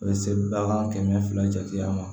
A bɛ se bagan kɛmɛ fila jate ma